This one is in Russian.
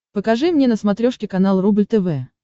покажи мне на смотрешке канал рубль тв